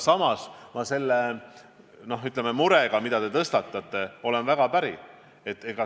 Samas ma olen päri selle murega, mille te olete tõstatanud.